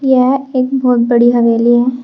यह एक बहोत बड़ी हवेली है।